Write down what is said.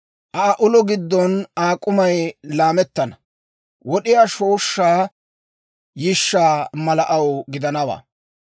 Aa ulo giddon Aa k'umay laamettana; wod'iyaa shooshshaa yishshaa mala aw gidanawaa.